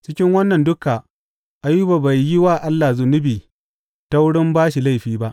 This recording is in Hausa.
Cikin wannan duka Ayuba bai yi wa Allah zunubi ta wurin ba shi laifi ba.